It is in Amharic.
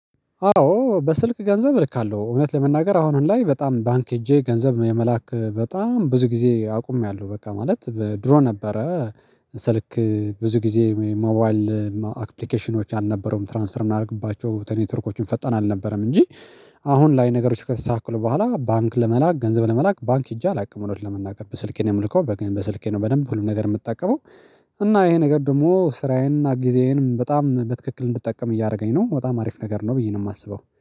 አዎ በስልክ ገንዘብ እልካለሁ እውነት ለመናገር አሁኑ ላይ በጣም ባንክ ሄጄ ገንዘብ የመላክ በጣም ብዙ ጊዜ አቁመያለሁ በቃ ማለት ድሮ ነበረ ስልክ ብዙ ጊዜ ሞባይል አፕልከሽኞች አልነበሩም ትራንስፈር የምናደርግባቸው ኔቶርኮችም ፈጠን አልነበረም እንጂ። አሁን ላይ ነገሮች ከተስተካከሉ በዋላ ባንክ ለመላክ ገንዘብ ለመላክ ባንክ ሄጄ አላውቅም እውነት ለመናገር በስልኬ ነው የምልከው በኝ በስልኬ ነው በደንብ ሁሉም ነገር የምትጠቀመው። እና ይሄ ነገር ደግሞ ስራየንና ጊዜየንም በጣም በትክክል እንድትጠቀም እያደረገኝ ነው በጣም አሪፍ ነገር ነው ብዬ ነው የማስበው